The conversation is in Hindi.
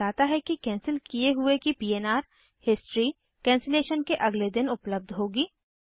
यह बताता है कैंसिल किये हुए की पन्र हिस्ट्री कैंसिलेशन के अगले दिन उपलब्ध होगी